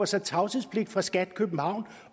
sig tavshedspligt fra skat københavn